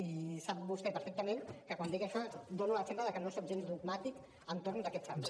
i sap vostè perfectament que quan dic això dono l’exemple de que no soc gens dogmàtic entorn d’aquests àmbits